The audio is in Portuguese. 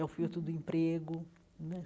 É o filtro do emprego né.